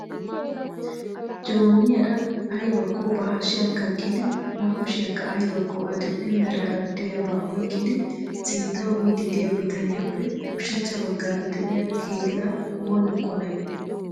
Jooniyaara aybba ba hashiyan kaqqidi ba kushiyankka aybbakko adil''e meraara diyaaba oyqqidi sintta biidi diya bitaniyappe ushachcha baggaara de'iyaa keela oonee qolay?